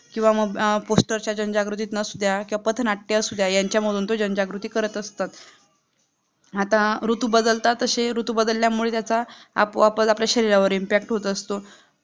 किंवा म poster च्या जनजागृती असुद्या किंवा पथनाट्य असुद्या यांच्या मधून जनजागृती करत असतात आता ऋतु बदलतात तसे ऋतु बदल्या मूळ त्याचा आपल्या शरीरावर impact होत असतो